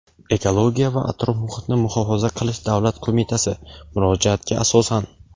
Ekologiya va atrof-muhitni muhofaza qilish davlat qo‘mitasi (murojaatga asosan).